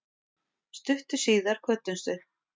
Stuttu síðar kvöddumst við.